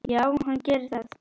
Já, hann gerir það